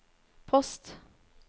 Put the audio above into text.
post